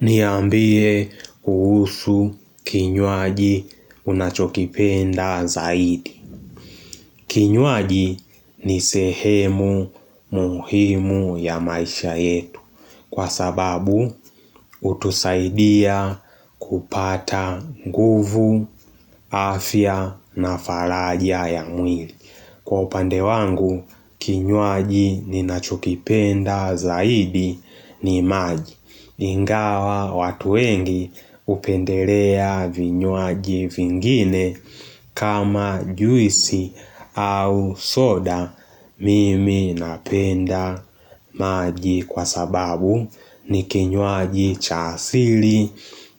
Niambie kuhusu kinywaji unachokipenda zaidi. Kinywaji ni sehemu muhimu ya maisha yetu. Kwa sababu, hutusaidia kupata nguvu, afya na faraja ya mwili. Kwa upande wangu, kinywaji ni nachokipenda zaidi ni maji. Ingawa watu wengi hupendelea vinywaji vingine kama juisi au soda mimi napenda maji kwa sababu ni kinywaji cha asili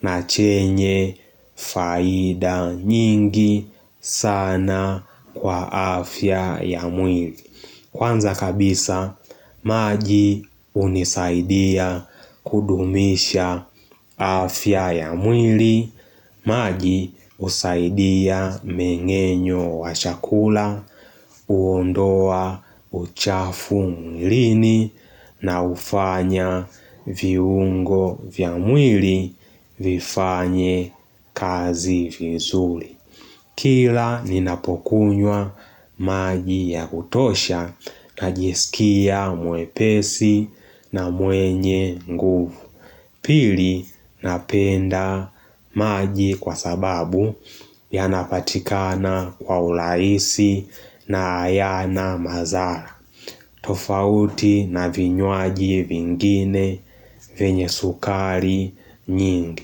na chenye faida nyingi sana kwa afya ya mwili. Kwanza kabisa, maji hunisaidia kudumisha afya ya mwili, maji husaidia mmeng'enyo wa chakula, huondoa uchafu mwilini na hufanya viungo vya mwili vifanye kazi vizuri. Kila ninapokunywa maji ya kutosha na jisikia mwepesi na mwenye nguvu. Pili napenda maji kwa sababu yanapatikana kwa urahisi na hayana madhara. Tofauti na vinywaji vingine vyenye sukari nyingi.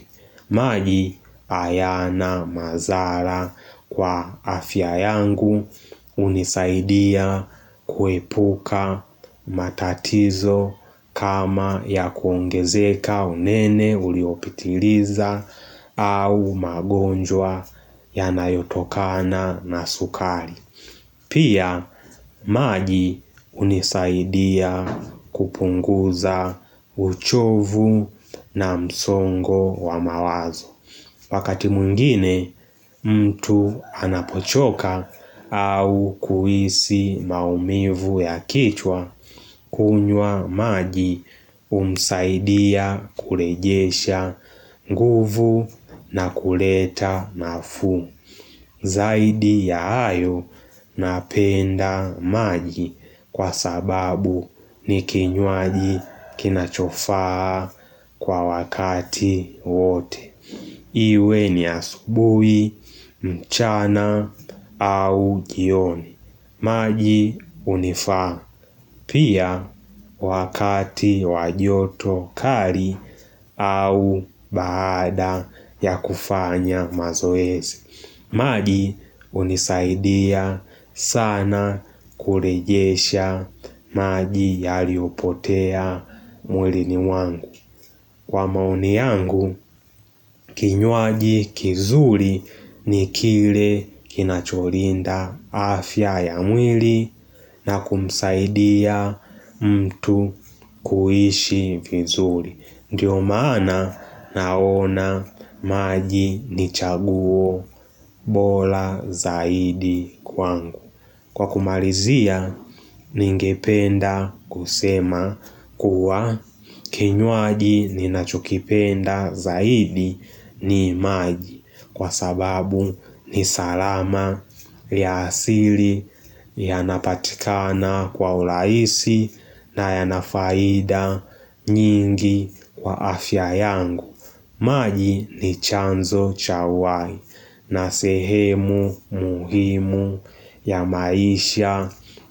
Maji hayana madhara kwa afya yangu hunisaidia kuepuka matatizo kama ya kuongezeka unene uliopitiliza au magonjwa ya nayotokana na sukari. Pia maji hunisaidia kupunguza uchovu na msongo wa mawazo. Wakati mwingine mtu anapochoka au kuhisi maumivu ya kichwa kunywa maji humsaidia kurejesha nguvu na kuleta nafuu. Zaidi ya hayo napenda maji kwa sababu ni kinywaji kinachofaa kwa wakati wote. Iwe ni asubuhi, mchana au jioni. Maji hunifaa pia wakati wajoto kali au baada ya kufanya mazoezi. Maji hunisaidia sana kurejesha maji yaliopotea mwili ni wangu. Kwa maoni yangu, kinywaji kizuri ni kile kinacholinda afya ya mwili na kumsaidia mtu kuishi vizuri. Ndiyo maana naona maji ni chaguo bora zaidi kwangu. Kwa kumalizia ningependa kusema kuwa kinywaji ni nachokipenda zaidi ni maji. Kwa sababu ni salama ya asili yanapatikana kwa urahisi na ya nafaida nyingi kwa afya yangu. Maji ni chanzo cha uhai na sehemu muhimu ya maisha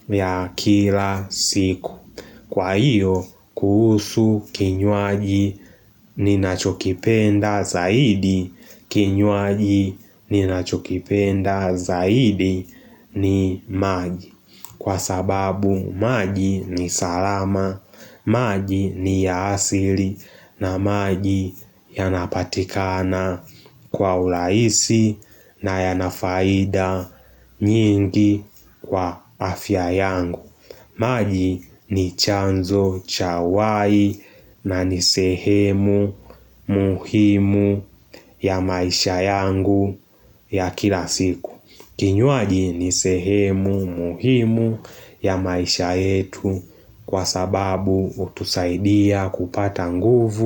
ya kila siku. Kwa hiyo, kuhusu kinywaji ni nachokipenda zaidi kinywaji ninachokipenda zaidi ni maji kwa sababu maji ni salama maji ni ya asili na maji yanapatikana kwa urahisi na yana faida nyingi kwa afya yangu. Maji ni chanzo cha uhai na ni sehemu muhimu ya maisha yangu ya kila siku. Kinywaji ni sehemu muhimu ya maisha yetu kwa sababu hutusaidia kupata nguvu.